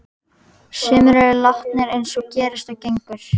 Sumir eru látnir eins og gerist og gengur.